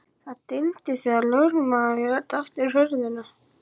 Það dimmdi þegar lögmaðurinn lét aftur hurðina.